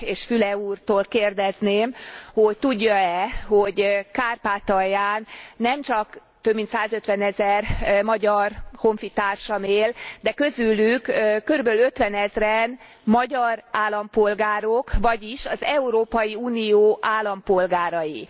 És Füle úrtól kérdezném, hogy tudja e, hogy Kárpátalján nemcsak több mint százötvenezer magyar honfitársam él, de közülük körülbelül ötvenezren magyar állampolgárok, vagyis az Európai Unió állampolgárai.